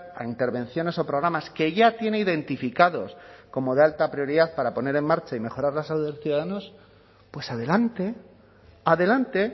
a intervenciones o programas que ya tiene identificados como de alta prioridad para poner en marcha y mejorar la salud de los ciudadanos pues adelante adelante